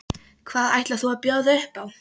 Hvað ætlar þú að bjóða upp á?